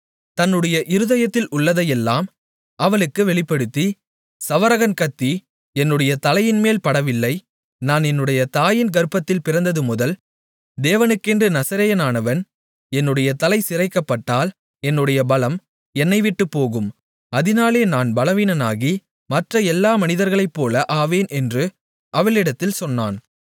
தன்னுடைய இருதயத்தில் உள்ளதையெல்லாம் அவளுக்கு வெளிப்படுத்தி சவரகன் கத்தி என்னுடைய தலையின்மேல் படவில்லை நான் என்னுடைய தாயின் கர்ப்பத்தில் பிறந்ததுமுதல் தேவனுக்கென்று நசரேயனானவன் என்னுடைய தலை சிரைக்கப்பட்டால் என்னுடைய பலம் என்னை விட்டுப்போகும் அதினாலே நான் பலவீனனாகி மற்ற எல்லா மனிதர்களைப்போல ஆவேன் என்று அவளிடத்தில் சொன்னான்